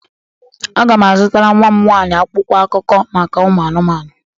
Aga m azụtara nnwa m nwaanyị akwụkwọ akụkọ maka ụmụ anụmanụ.